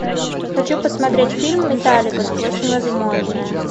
хочу посмотреть фильм металлика сквозь невозможное